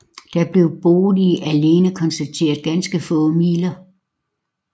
Der blev i boet alene konstateret ganske få midler